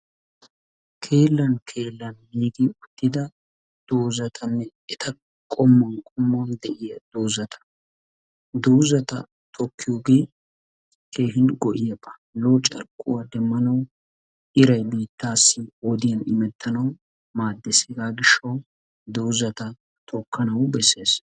keelliyoo keelan giigi uttida doozatanne eta qommuwan qommuwan de'iyaa doozata. doozata tokkiyoogee keehin go"iyaaba. lo"o carkkuwaa demmanawu iraay biittaasi wodiyaan imetanaw maaddees. hegaa giishshaaw doozata tokkanawu bessees.